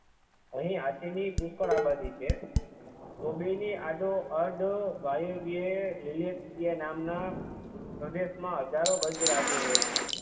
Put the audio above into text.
અહી હાથી ની પુષ્કળ આ આબાદી છે કુબેર ની આડોઅડ વાયેવ્યે લિલેતપિયે નામના પ્રદેશ માં હજારો ગજરાજો રહે છે